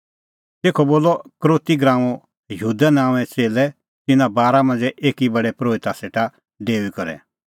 तेखअ बोलअ यहूदा इसकरोती नांओंए च़ेल्लै तिन्नां बारा मांझ़ै एकी प्रधान परोहिता सेटा डेऊई करै